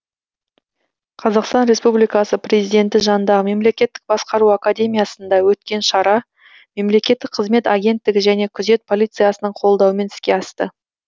қазақстан республикасы президенті жанындағы мемлекеттік басқару академиясында өткен шара мемлекеттік қызмет агенттігі және күзет полициясының қолдауымен іске асты